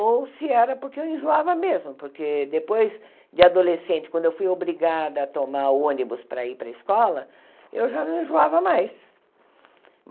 Ou se era porque eu enjoava mesmo, porque depois de adolescente, quando eu fui obrigada a tomar ônibus para ir para escola, eu já não enjoava mais.